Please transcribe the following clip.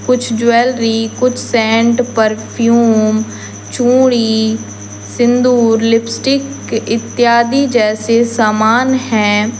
कुछ ज्वैलरी कुछ scent perfume चूड़ी सिंदूर लिपस्टिक इत्यादि जैसे सामान हैं।